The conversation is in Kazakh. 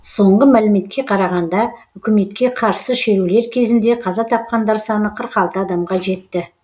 соңғы мәліметке қарағанда үкіметке қарсы шерулер кезінде қаза тапқандар саны қырық алты адамға жетті